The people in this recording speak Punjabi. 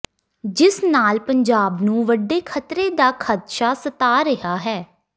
ਜਿਸ ਨਾਲ ਪੰਜਾਬ ਨੂੰ ਵੱਡੇ ਖਤਰੇ ਦਾ ਖਦਸ਼ਾ ਸਤਾ ਰਿਹਾ ਹੈ